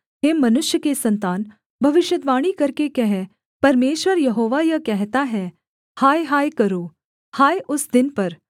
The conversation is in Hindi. हे मनुष्य के सन्तान भविष्यद्वाणी करके कह परमेश्वर यहोवा यह कहता है हाय हाय करो हाय उस दिन पर